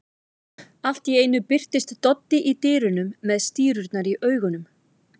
Allt í einu birtist Doddi í dyrunum með stírurnar í augunum.